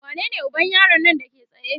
wanene uban yaron Nan Dake tsaye?